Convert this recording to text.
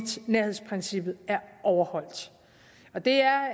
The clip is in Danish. nærhedsprincippet er overholdt det er